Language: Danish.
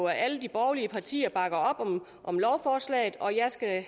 at alle de borgerlige partier bakker op om om lovforslaget og jeg skal her